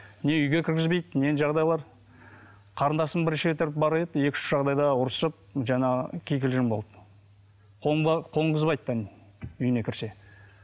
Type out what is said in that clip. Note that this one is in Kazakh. не үйге кіргізбейді не жағдайлар қарындасым бірінші реттер барып еді екі үш жағдайда ұрысып жаңағы кикілжің болды қонғызбайды да үйіне кірсе